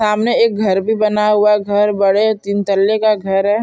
सामने एक घर भी बना हुआ है घर बड़े तिंतल्ले का घर है।